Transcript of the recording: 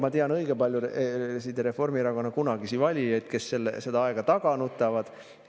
Ma tean õige paljusid Reformierakonna kunagisi valijaid, kes seda aega taga nutavad.